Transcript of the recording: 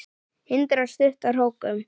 Hindrar stutta hrókun.